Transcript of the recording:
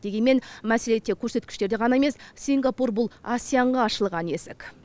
дегенмен мәселе тек көрсеткіштерде ғана емес сингапур бұл ассиянға ашылған есік